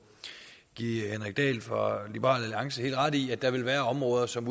give henrik dahl fra liberal alliance helt ret i at der vil være områder som